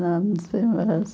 Ah, não sei mais.